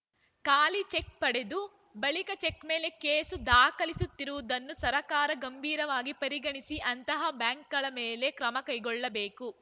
ಖಾಲಿ ಚೆಕ್‌ ಪಡೆದು ಬಳಿಕ ಚೆಕ್‌ ಮೇಲೆ ಕೇಸು ದಾಖಲಿಸುತ್ತಿರುವುದನ್ನು ಸರಕಾರ ಗಂಭೀರವಾಗಿ ಪರಿಗಣಿಸಿ ಅಂತಹ ಬ್ಯಾಂಕ್‌ಗಳ ಮೇಲೆ ಕ್ರಮ ಕೈಗೊಳ್ಳಬೇಕು